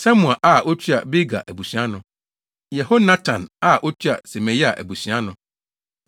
Samua a otua Bilga abusua ano. Yehonatan a otua Semaia abusua ano.